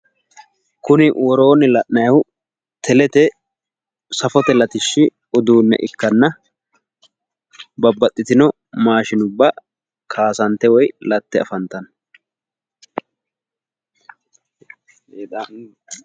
Kuni woroonni la'nayiihu telete safote latishshi uduunne ikkanna, babbaxitino maashinubba kaasantte woyi latte afanttanno.